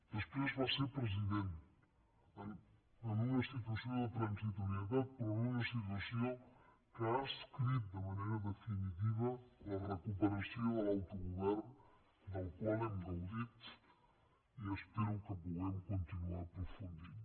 després va ser president en una situació de transitorietat però en una situació que ha escrit de manera definitiva la recuperació de l’autogovern del qual hem gaudit i espero que puguem continuar aprofundint